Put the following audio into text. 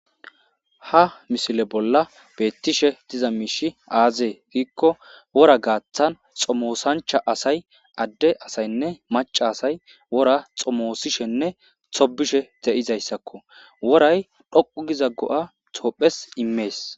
ha misile bolla beettishe diza miishi aazee giikko wora gaaththan xomoosancha asay adde asaynne maca asay wora xomoosishenne tobishe de'izayssakko woray dhoqu giza go'a toophes immees